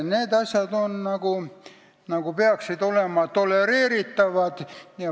Need asjad peaksid olema tolereeritavad.